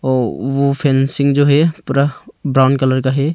वो वो फेंसिंग जो है पूरा ब्राउन कलर का है।